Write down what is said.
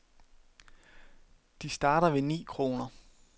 De starter ved ni kroner.